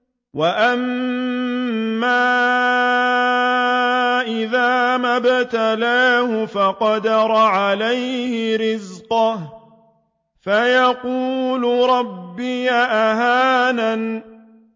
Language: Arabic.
وَأَمَّا إِذَا مَا ابْتَلَاهُ فَقَدَرَ عَلَيْهِ رِزْقَهُ فَيَقُولُ رَبِّي أَهَانَنِ